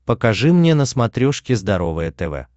покажи мне на смотрешке здоровое тв